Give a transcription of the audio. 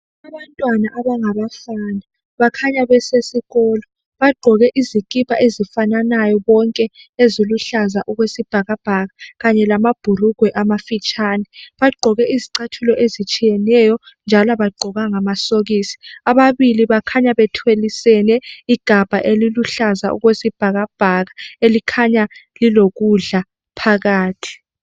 Abantwana abangabafana bakhanya besesikolo bagqoke izikipa ezifananayo bonke eziluhlaza okwesibhakabhaka Kanye lamabhurugwe amafitshane. Bagqoke izicathulo ezitshiyeneyo njalo abagqokanga amasokisi. Ababili bakhanya bethwalisene igabha eliluhlaza okwesibhakabhaka elikhanya lilokudla phakathi.